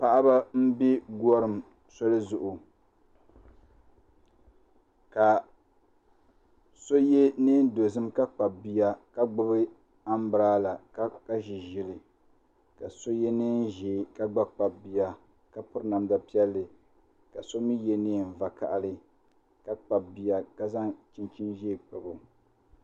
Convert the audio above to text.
Paɣaba n bɛ gorim soli zuɣu ka so yɛ neen dozim ka kpabi bia ka gbubi anbirala ka ʒi ʒili ka so yɛ neen ʒiɛ ka gba kpabi bia ka piri namda vakaɣali ka so mii yɛ neen ʒiɛ ka gba kpabi bia ka zaŋ chinchin ʒiɛ kpabo